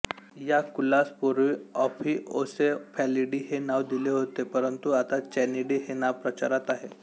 या कुलास पुर्वी ऑफिओसेफॅलिडी हे नाव दिले होते परंतु आता चॅनिडी हे नाव प्रचारात आहे